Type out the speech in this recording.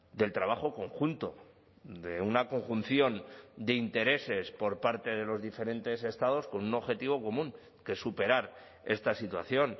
del trabajo conjunto de una conjunción de intereses por parte de los diferentes estados con un objetivo común que es superar esta situación